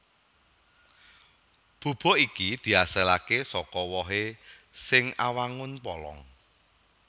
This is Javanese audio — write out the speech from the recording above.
Bubuk iki diasilaké saka wohé sing awangun polong